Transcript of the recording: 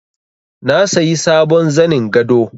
Na sayi sabon zanin gado